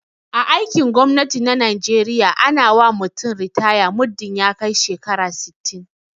a aikin gwamnati na najeriya ana wa mutum ritaya muddin ya kai shekara sittin